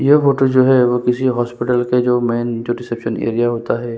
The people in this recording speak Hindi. ये फोटो जो है किसी हॉस्पिटल के जो मैन जो रिसेप्शन एरिया होता है।